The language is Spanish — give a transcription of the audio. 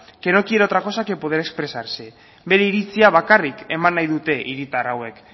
que no quiere otra cosa que poder expresarse bere iritzia bakarrik eman nahi dute hiritar hauek